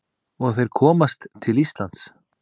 Og þeir komast til Íslands.